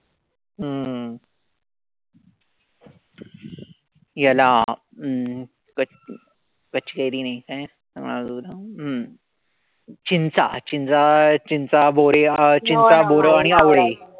हम्म याला पच कच्चीकैरी नाई काय अजून हम्म चिंचा. चिंचा, बोरे, चिंचा, बोर आणि आवळे,